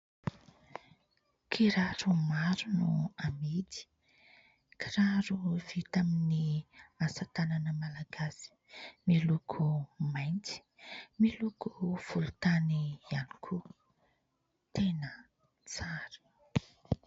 Kiraro maro no amidy. Kiraro vita amin'ny asa tanana malagasy miloko mainty, miloko volotany ihany koa. Tena tsara !